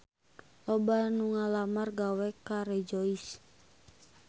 Loba anu ngalamar gawe ka Rejoice